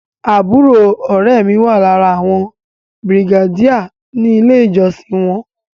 Àbúrò ọ̀rẹ́ ẹ mi wà lára àwọn bìrìgéèdì ní ilé ìjọsìn wọn